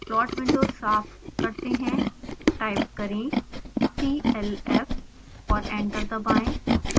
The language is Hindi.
प्लॉट विंडो साफ करते हैं